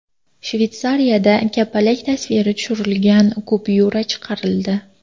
Shveysariyada kapalak tasviri tushirilgan kupyura chiqarildi.